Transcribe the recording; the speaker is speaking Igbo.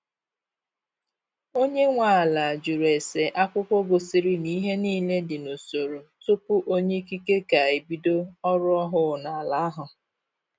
Onye nwe ala jụrụ ese akwụkwọ gosiri na ihe niile dị n'usoro tupu onye ikike ka ebido ọrụ ọhụụ n' ala ahụ.